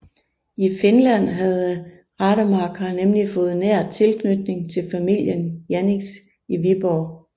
I Finland havde Rademacher nemlig fået nær tilknytning til familien Jaenisch i Viborg